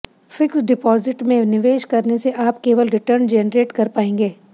fixed deposit में निवेश करने से आप केवल रिटर्न जेनरेट कर पाएंगे